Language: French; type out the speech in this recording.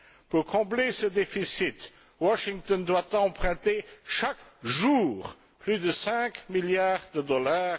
Pour combler ce déficit, Washington doit emprunter chaque jour plus de 5 milliards de dollars.